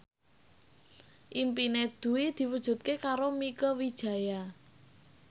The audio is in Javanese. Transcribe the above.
impine Dwi diwujudke karo Mieke Wijaya